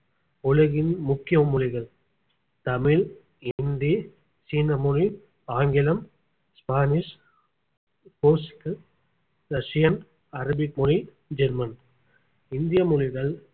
உலகின் முக்கிய மொழிகள் தமிழ் ஹிந்தி சீன மொழி ஆங்கிலம் ஸ்பானிஷ் போர்ச்சுக்கீஸ் ரஷியன் அரபிக் மொழி ஜெர்மன் இந்திய மொழிகள்